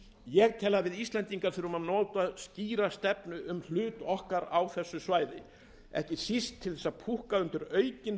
ég tel að við íslendingar þurfum að móta skýra stefnu um hlutverk okkar á þessu svæði ekki síst til að púkka undir aukinn